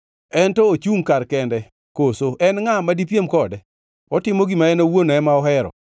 “En to ochungʼ kar kende, koso en ngʼa madipiem kode? Otimo gima en owuon ema ohero.